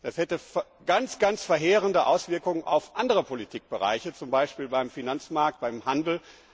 Das hätte ganz verheerende Auswirkungen auf andere Politikbereiche, zum Beispiel beim Finanzmarkt und beim Handel.